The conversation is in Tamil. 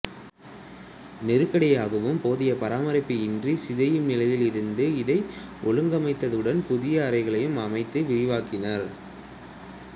நெருக்கடியாகவும் போதிய பராமரிப்பு இன்றிச் சிதையும் நிலையில் இருந்த இதை ஒழுங்கமைத்ததுடன் புதிய அறைகளையும் அமைத்து விரிவாக்கினார்